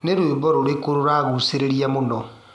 Nĩ rwĩmbo rũrikũ rũragucereria mũno?